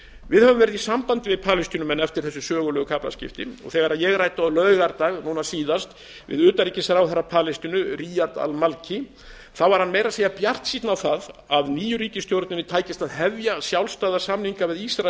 við höfum verið í sambandi við palestínumenn eftir þessi sögulegu kaflaskipti og þegar ég ræddi síðast á laugardag við utanríkisráðherra palestínu riyad al malki var hann meira að segja bjartsýnn á að nýju ríkisstjórninni tækist að hefja sjálfstæða samninga við ísrael